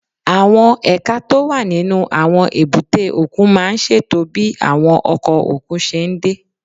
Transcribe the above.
Àwọn ẹ̀ka tó wà nínú àwọn èbúté òkun máa ń ṣètò bí àwọn ọkọ̀ òkun ṣe ń dé